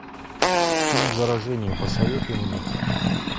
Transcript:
фильм заражение посоветуй мне